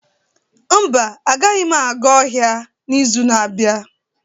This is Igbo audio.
Mba, agaghị m aga ọhịa n'izu na-abịa.